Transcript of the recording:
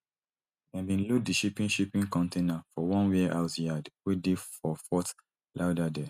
dem bin load di shipping shipping container for one warehouse yard wey dey for fort lauderdale